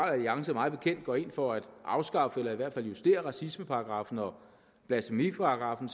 alliance mig bekendt går ind for at afskaffe eller i hvert fald justere racismeparagraffen og blasfemiparagraffen